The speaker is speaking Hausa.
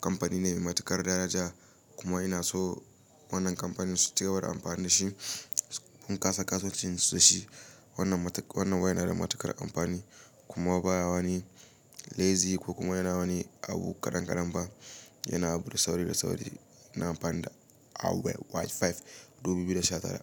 kamfani ne mai matuƙar daraja kuma ina so wannan kamfanin su cigaba da amfani da shi. Mun kasa kasuwancin su da shi. Wannan wayar na da matuƙar amfani kuma ba wani laizi ko kuma yana wani abu kaɗankaɗan ba. Yana abu da sauri da sauri. Ina amfani da Huawei Y5 2019.